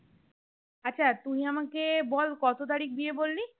আচ্ছা তুই আমাকে বল কত তারিখ বিয়ে বললি?